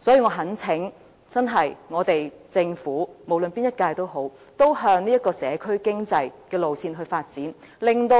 所以，我懇請政府——無論是哪一屆政府——也向社區經濟的路線發展，令不